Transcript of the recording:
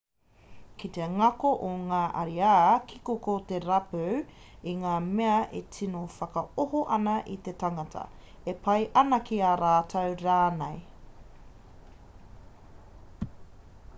kei te ngako o ngā ariā kiko ko te rapu i ngā mea e tino whakaoho ana i te tangata e pai ana ki a rātou rānei